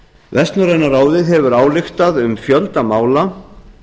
vestnorræna ráðið hefur ályktað um fjölda mála